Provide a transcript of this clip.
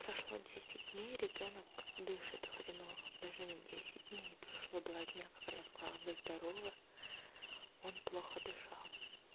прошло десять дней ребёнок дышит хреново даже не десять дней прошло два дня как она сказала бы здоровы он плохо дышал